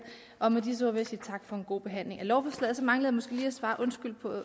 og med disse ord vil jeg sige tak for en god behandling af lovforslaget så mangler jeg måske lige at svare undskyld på